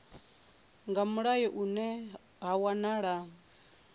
nga mulayo hune ha wanala